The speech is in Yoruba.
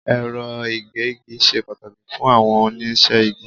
Ẹ̀rọ ìgégi ṣe pàtàkì fún àwọn oníṣẹ́ igi.